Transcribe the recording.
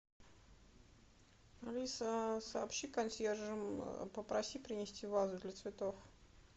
алиса сообщи консьержам попроси принести вазу для цветов